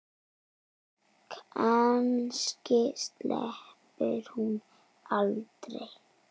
Kannski sleppur hún aldrei.